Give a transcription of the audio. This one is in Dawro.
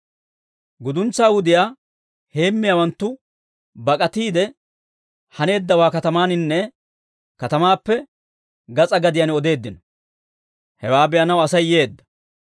Guduntsaa wudiyaa heemmiyaawanttu bak'atiide, haneeddawaa katamaaninne katamaappe gas'aa gadiyaan odeeddino; hewaa be'anaw Asay yeedda.